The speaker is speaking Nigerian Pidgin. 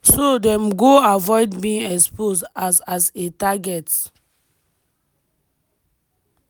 so dem go “avoid being exposed as as a target”.